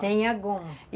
Sem a goma. E